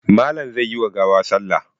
Malam zai yi wa gawa salla.